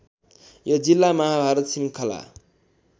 यो जिल्ला महाभारत श्रृङ्खला